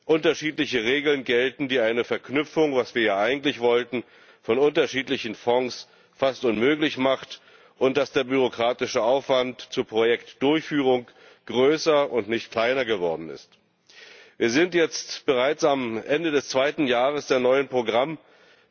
unterschiedliche Regeln gelten, die eine Verknüpfung was wir ja eigentlich wollten von unterschiedlichen Fonds fast unmöglich macht, und dass der bürokratische Aufwand zur Projektdurchführung größer und nicht kleiner geworden ist. Wir sind jetzt bereits am Ende des zweiten Jahres der neuen Programmperiode,